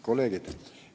Kolleegid!